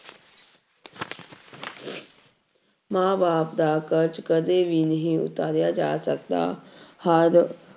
ਮਾਂ ਬਾਪ ਦਾ ਕਰਜ਼ ਕਦੇ ਵੀ ਨਹੀਂ ਉਤਾਰਿਆ ਜਾ ਸਕਦਾ, ਹਰ